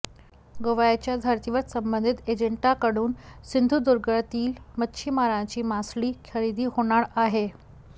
गोव्याच्या धर्तीवर संबंधित एजंटांकडून सिंधुदुर्गातील मच्छीमारांची मासळी खरेदी होणार आहे